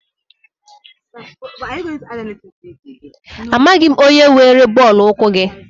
Amaghị m onye were bọọlụ ụkwụ gị.